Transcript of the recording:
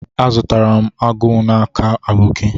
Azutaram agu n'aka aboki.